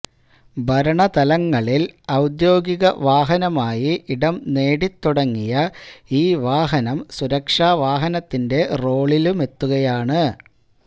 ഭരണതലങ്ങളില് ഔദ്യോഗിക വാഹനമായി ഇടം നേടിത്തുടങ്ങിയ ഈ വാഹനം സുരക്ഷാ വാഹനത്തിന്റെ റോളിലുമെത്തുകയാണ്